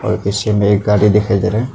तस्वीर में एक गाड़ी दिखाई दे रहा है।